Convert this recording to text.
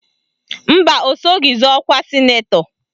Mba, o soghi zọọ ọkwa sịnetọ